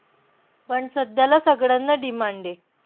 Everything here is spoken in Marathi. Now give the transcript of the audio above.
पण सध्याला सगळ्यांना demand ए.